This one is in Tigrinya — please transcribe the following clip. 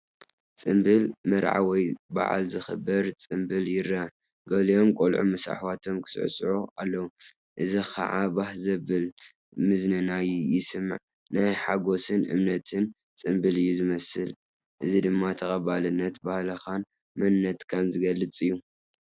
ጽምብል መርዓ ወይ በዓል ዝኽበር ጽምብል ይረአ። ገሊኦም ቈልዑ ምስ ኣሕዋቶም ክስዕስዑ ኣለው፣ እዚ ኸኣ ባህ ዜብል ምዝንናይ የስምዕ። ናይ ሓጎስን እምነትን ጽምብል እዩ ዝመስል። እዚ ድማ ተቐባሊነትን ባህልኻን መንነትካን ዝገልፅ እዩ።